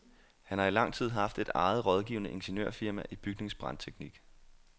Han har i lang tid haft et eget rådgivende ingeniørfirma i bygningsbrandteknik.